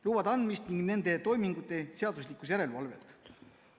... lubade andmist ning nende toimingute seaduslikkuse järelevalvet.